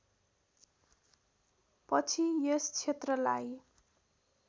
पछि यस क्षेत्रलाई